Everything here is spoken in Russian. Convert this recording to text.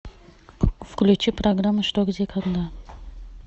включи программу что где когда